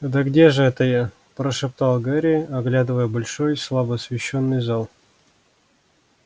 да где же это я прошептал гарри оглядывая большой слабо освещённый зал